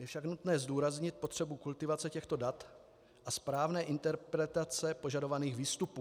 Je však nutné zdůraznit potřebu kultivace těchto dat a správné interpretace požadovaných výstupů.